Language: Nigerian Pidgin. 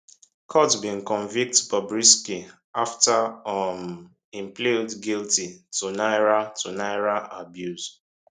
court bin convict bobrisky afta um im plead guilty to naira to naira abuse